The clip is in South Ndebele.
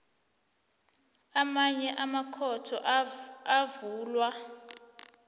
amanye amakhotho avulwa